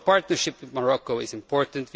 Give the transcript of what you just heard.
Our partnership with Morocco is important